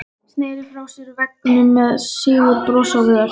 Sneri sér frá veggnum með sigurbros á vör.